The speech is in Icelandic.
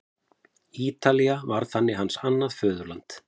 Ítalía varð þannig hans annað föðurland.